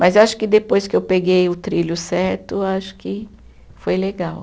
Mas eu acho que depois que eu peguei o trilho certo, acho que foi legal.